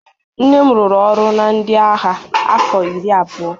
nne m rụrụ ọrụ na ndị agha afọ iri abụọ